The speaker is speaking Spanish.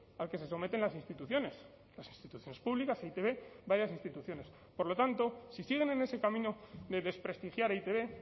al que se someten las instituciones las instituciones públicas e i te be varias instituciones por lo tanto si siguen en ese camino de desprestigiar e i te be